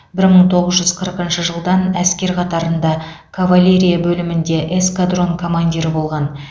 бір мың тоғыз жүз қырқыншы жылдан әскер қатарында кавалерия бөлімінде эскадрон командирі болған